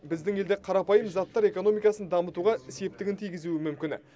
біздің елде қарапайым заттар экономикасын дамытуға септігін тигізуі мүмкін